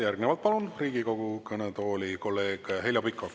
Järgnevalt palun Riigikogu kõnetooli kolleeg Heljo Pikhofi.